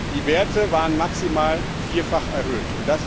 Die Werte waren maximal vierfach erhöht.